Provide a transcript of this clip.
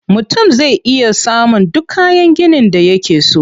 Mutum zai iya samun duk kayan ginin da yake so.